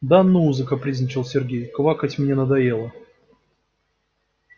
да ну закапризничал сергей квакать мне надоело